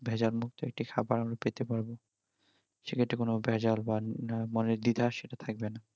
ভেজাল মুক্ত একটি খাবার আমরা পেতে পারবো সেক্ষেত্রে কোনো ভেজাল বা মনের দ্বিধা সেটা থাকবে না